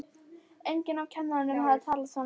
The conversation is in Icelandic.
Enginn af kennurunum hafði talað svona við þá.